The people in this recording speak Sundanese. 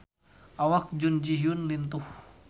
Awak Jun Ji Hyun lintuh